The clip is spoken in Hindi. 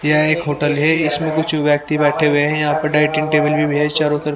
यह एक होटल है इसमें कुछ व्यक्ति बैठे हुए हैं यहाँ पर डाइटिंग टेबल भी है चारों तरफ--